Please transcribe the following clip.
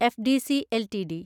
FDC LTD